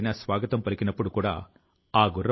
గొందె ధరమ్ గారికి చెందిన ఉదాహరణ కూడా ఉంది